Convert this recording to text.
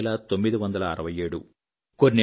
రెండువేల తొమ్మిది వందల అరవై ఏడు